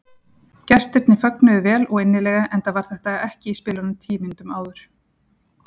Gestirnir fögnuðu vel og innilega enda var þetta ekki í spilunum tíu mínútum áður.